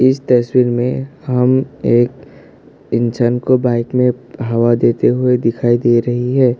इस तस्वीर में हम एक इंसान को बाइक में हवा देते हुए दिखाई दे रही है।